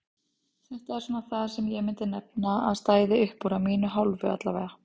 Hann lagði mikla áherslu á drengskapinn, hvernig þessir kappar stóðu við orð og eiða.